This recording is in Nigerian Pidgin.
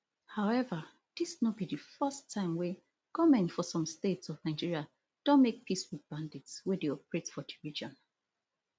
however dis no be di first time wey goment for some states of nigeria don make peace wit bandits wey dey operate for di region